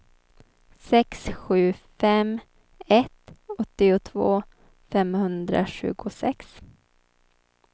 sex sju fem ett åttiotvå femhundratjugosex